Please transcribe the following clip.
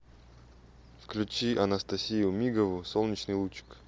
включи анастасию мигову солнечный лучик